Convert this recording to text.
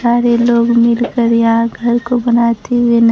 सारे लोग मिलकर यहां घर को बनाते हुए न--